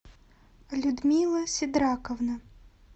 людмила сидраковна